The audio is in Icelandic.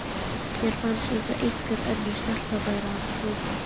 Mér fannst eins og einhver önnur stelpa væri að hrópa.